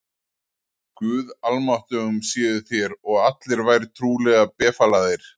Guði almáttugum séuð þér og allir vær trúlega befalaðir.